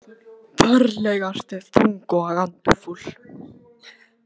Ferlega ertu þung og andfúl.